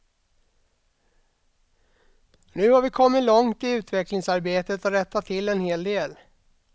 Nu har vi kommit långt i utvecklingsarbetet och rättat till en hel del.